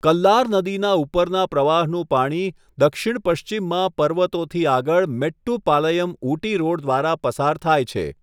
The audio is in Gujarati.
કલ્લાર નદીના ઉપરના પ્રવાહનું પાણી દક્ષિણ પશ્ચિમમાં પર્વતોથી આગળ મેટ્ટુપાલયમ ઊટી રોડ દ્વારા પસાર થાય છે.